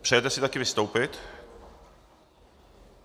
Přejete si také vystoupit?